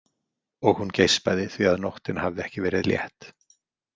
Og hún geispaði því að nóttin hafði ekki verið létt.